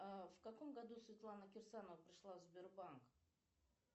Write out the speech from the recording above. в каком году светлана кирсанова пришла в сбербанк